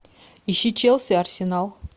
ищи челси арсенал